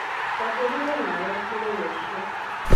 Twahũrirũo nawe mũthenya ũcĩo